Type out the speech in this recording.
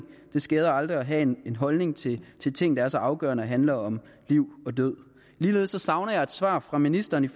det skader aldrig at have en holdning til til ting der er så afgørende handler om liv og død ligeledes savner jeg et svar fra ministeren